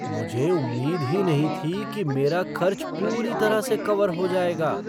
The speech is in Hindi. मुझे उम्मीद ही नहीं थी कि मेरा खर्च पूरी तरह से कवर हो जाएगा।